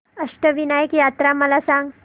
अष्टविनायक यात्रा मला सांग